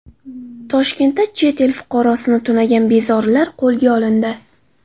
Toshkentda chet el fuqarosini tunagan bezorilar qo‘lga olindi.